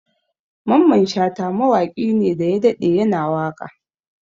Mamman Shata mawaƙi ne daya daɗe ya na waƙa